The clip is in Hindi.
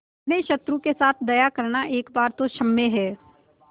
अपने शत्रु के साथ दया करना एक बार तो क्षम्य है